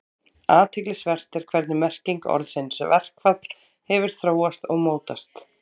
Athyglisvert er hvernig merking orðsins verkfall hefur þróast og mótast.